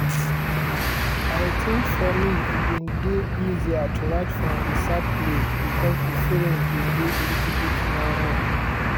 "i think for me e bin dey easier to write from a sad place because di feelings bin dey a little bit more raw."